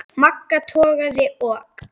Magga togaði og